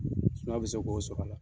Sumaya be se k'o sɔrɔ a la.